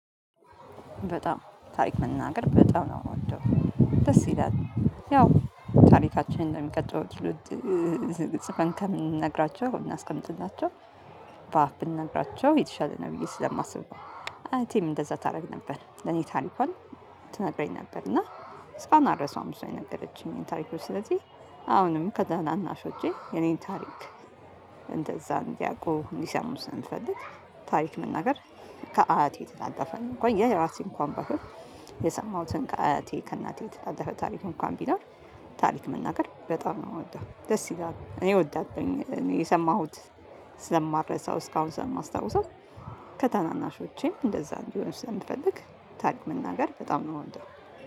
በጣም ታሪክ መናገር በጣም ነው የምወደው ደስ ይላል። ያው ታሪካችንን እንደሚቀጥለው ዝግጅት ከምንነግራቸው እናስቀምጥላቸው በአፍ ብንነግራቸው የተሻለ ነው ብዬ ስለማስብ። አያቴም እንደዛ ታደርግ ነበር ለኔ ታሪኳን ትነግረኝ ነበር እና እስታሁን አልረሳውም። እሷ የነገረችኝ ታሪኮች ስለዚህ አሁንም ከታናናሾቼ የኔን ታሪክ ዲያቆን ሊሰሙስ እንፈልግ። ታሪክ መናገር ከአያቴ ተጣጣፈን እንኳን የራሴን እንኳን ባህር የሰማሁትን ከአያቴ ከእናቴ የተጣደፈ ታሪክ እንኳን ቢኖር ታሪክ መናገር በጣም ነው የምወደው ደስ ይላል እኔ እወዳለሁኝ እኔ የሰማሁት ስለማረሳው እስካሁን ስለማስታውሰው። ከታናናሾቼም እንደዛ እንዲሆን ስለምፈልግ ታሪክ መናገር በጣም ነው የምወደው።